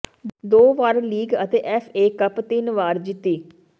ਦੋ ਵਾਰ ਲੀਗ ਅਤੇ ਐਫ ਏ ਕੱਪ ਤਿੰਨ ਵਾਰ ਜਿੱਤੀ